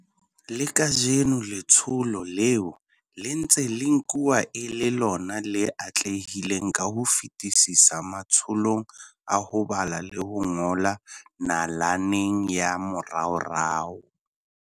Le kajeno letsholo leo le ntse le nkuwa e le lona le atlehileng ka ho fetisisa matsholong a ho bala le ho ngola nalaneng ya moraorao.